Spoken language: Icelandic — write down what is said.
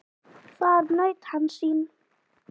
Þar naut hann sín.